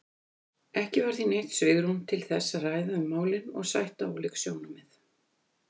Ekki var því neitt svigrúm til þess að ræða um málin og sætta ólík sjónarmið.